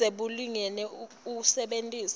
budze bulungile usebentise